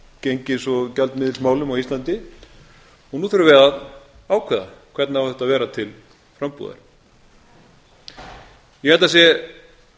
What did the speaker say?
gengis og gjaldmiðilsmálum á íslandi nú þurfum við að ákveða hvernig á þetta að vera til frambúðar ég held að sé